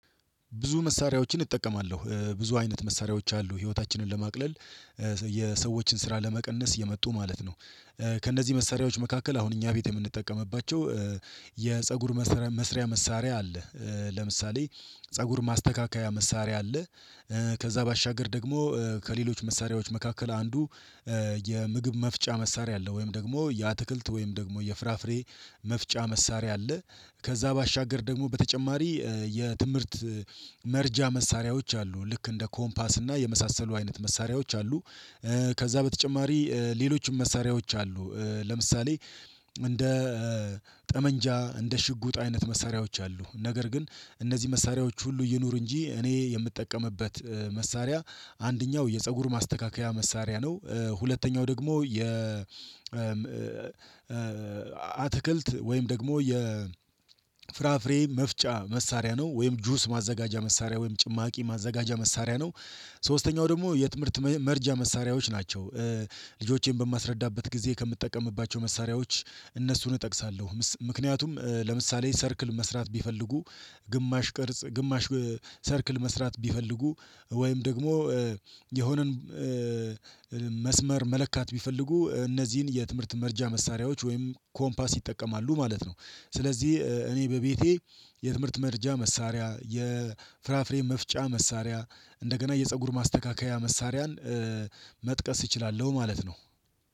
ብዙ መሳሪያዎችን እጠቀማለሁ ብዙ አይነት መሳሪያዎች አሉ ህይወታችንን ለማቅለል የሰዎችን ስራ ለመቀነስ የመጡ ማለት ነው። ከእነዚህ መሳሪያዎች መካከል አሁን እኛ ቤት የምንጠቀምባቸው የፀጉር መስሪያ መሳሪያ አለ ለምሳሌ ፀጉር ማስተካከያ መሳሪያ አለ። ከዛ ባሻገር ደግሞ ከሌሎች መሳሪያዎች መካከል አንዱ የምግብ መፍጫ መሳሪያ አለ ወይም ደግሞ የአትክልት ወይም ደግሞ የፍራፍሬ መፍጫ መሳሪያ አለ ከዛ ባሻገር ደግሞ በተጨማሪ የትምህርት መርጃ መሳሪያዎች አሉ ልክ እንደ ኮምፓስ እና የመሳሰሉ አይነት መሳሪያዎች አሉ። ከዛ በተጨማሪ ሌሎችም መሳሪያዎች አሉ ለምሳሌ እንደ ጠመንጃ እንደ ሽጉጥ አይነት መሳሪያዎች አሉ። ነገር ግን እነዚህ መሳሪያዎች ሁሉ ይኑሩ እንጂ እኔ የምጠቀምበት መሳሪያ አንደኛው የፀጉር ማስተካከያ መሳሪያ ነው ሁለተኛው ደግሞ የ አትክልት ወይም ደግሞ የ ፍራፍሬ መፍጫ መሳሪያ ነው ወይም ጁስ ማዘጋጃ መሳሪያ ወይም ጭማቂ ማዘጋጃ መሳሪያ ነው። ሶስተኛው ደግሞ የትምህርት መርጃ መሳሪያዎች ናቸው። ልጆቼን በማስረዳበት ጊዜ ከምጠቀምባቸው መሳሪያዎች እነሱን እጠቅሳለሁ ምክንያቱም ለምሳሌ ሰርክል መስራት ቢፈልጉ ግማሽ ቅርጽ ግማሽ ሰርክል መስራት ቢፈልጉ ወይም ደግሞ የሆነን መስመር መለካት ቢፈልጉ እነዚህን የትምህርት መርጃ መሳሪያዎች ወይም ኮምፓስ ይጠቀማሉ ማለት ነው። ስለዚህ እኔ በቤቴ የትምህርት መርጃ መሳሪያ የፍራፍሬ መፍጫ መሳሪያ እንደገና የፀጉር ማስተካከያ መሳሪያን መጥቀስ እችላለሁ ማለት ነው